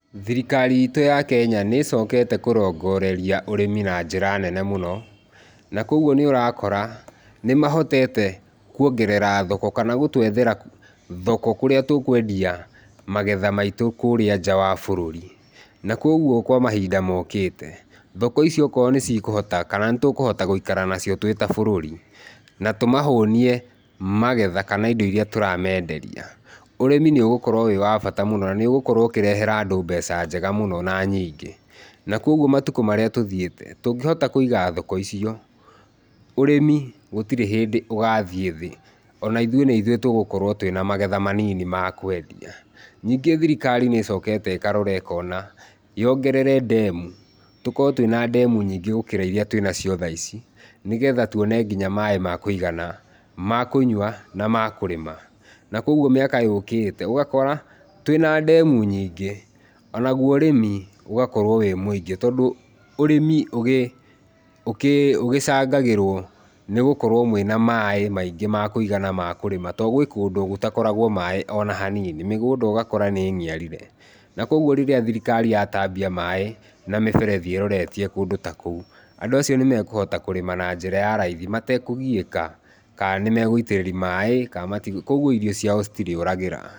Thirikari itũ ya Kenya nicokete kũrongoreria ũrĩmi na njĩra nene mũno na koguo nĩũrakora nĩmahotete kũongerera thoko kana gũtwethera thoko kũrĩa tũkwendia magetha maitu kũrĩa nja wa bururi na kogũo kwa mahinda mokĩte thoko ici okorwo nĩcikuhota kana nĩtũkũhota gũikara nacio twita bururi na tũmahũnie magetha kana indo iria tũramenderia, ũrĩmi nĩũgũkorwo wĩ wa bata mũno na nĩũgũkorwo ũkĩrehera andũ mbeca njega na nyingĩ na kogũo matũkũ marĩa tũthiĩte tũngĩhota kũiga thoko icio ũrĩmi gũtirĩ hindi ũgathiĩ thĩ ona ithũĩ nĩithũĩ tũgũkorwo twina magetha manini ma kwendia. Ningĩ thirikari nĩcokete ĩkarora ĩkona yongerere ndemu, tũkorwo twina ndemu nyingĩ gũkorwo iria twinacio thaa ici nĩgetha tuone nginya maĩ makũigana, makũnyua na makũrĩma na kogũo miaka yũkĩte ũgakora twina ndemu nyingĩ onaguo ũrĩmi ũgakorwo wĩ mũingĩ, tondũ ũrĩmi ũgĩ ũkĩ ũgĩcangagĩrwo nĩgũkorwo mwĩna maĩ maingĩ makũigana na ma kũrĩma tondũ gwĩ kũndũ gũtakoragwo maĩ onahanini, mĩgũnda ugakora nĩniarire na kogũo rĩrĩa thirikari yatambia maĩ na mĩberethi ĩroretie kũndũ ta kũu andũ acio nĩmekuhota kũrĩma ona njĩra ya raithi matekũgiĩka kana nĩmegũitĩrĩria maĩ kana mati koguo irio cia citirĩũragĩra.